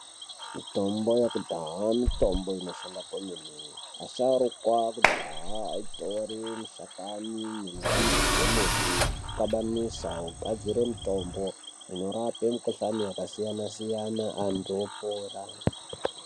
Mitombo yekudhahaa mitombo inoshanda kwemene, asharukwa ekudhahaa aitore mishakani nembidzi dzemuti okjabanisa ogadzire mitombo inorape mikhuhlani yakasiyana siyana antu opora.